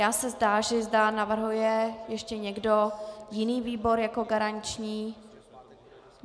Já se táži, zda navrhuje ještě někdo jiný výbor jako garanční.